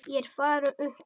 Ég er farinn upp úr.